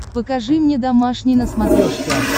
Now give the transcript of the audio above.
покажи мне домашний на смотрешке